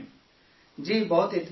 جی، بہت اطمینان ملتا ہے